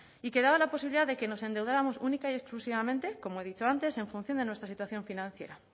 y que daba la posibilidad de que nos endeudáramos única y exclusivamente como he dicho antes en función de nuestra situación financiera